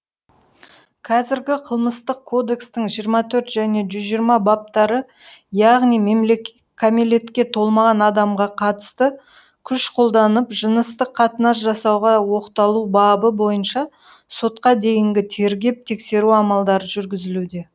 қазіргі қылмыстық кодекстің жиырма төрт және жүз жиырма баптары яғни кәмелетке толмаған адамға қатысты күш қолданып жыныстық қатынас жасауға оқталу бабы бойынша сотқа дейінгі тергеп тексеру амалдары жүргізілуде